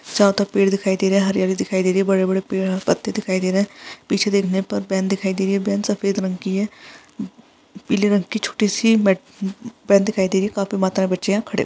चारों तरफ पेड़ दिखाई दे रहे हैं हरी-हरी दिखाई दे रही है बड़े-बड़े पेड़ और पत्ते दिखाई दे रहे हैं पीछे देखने पर बैन दिखाई दे रही है बैन सफ़ेद रंग की है पीले रंग की छोटी सी मेट बैन दिखाई दे रही है काफी मात्रा में बच्चे यहाँ खड़े --